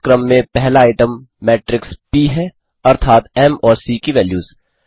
इस क्रम में पहला आइटम मेट्रिक्स प है अर्थात म् और सीसी की वैल्यूज़